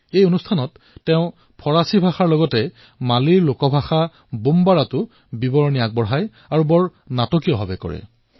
এই কাৰ্যসূচীৰ মাজত তেওঁ ফ্ৰান্সৰ সৈতে মালীৰ লোকভাষা বমবাৰাতো ধাৰভাষ্য প্ৰদান কৰে আৰু বৰ নাটকীয় ভংগীৰে কৰে